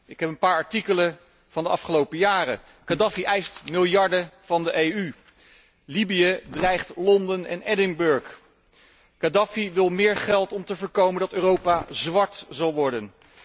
Ik heb hier een paar artikelen van de afgelopen jaren Khadafi eist miljarden van de EU. Libië dreigt Londen en Edinburgh. Khadafi wil meer geld om te voorkomen dat Europa zwart zal worden.